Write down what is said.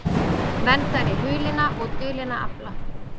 Verndari hulinna og dulinna afla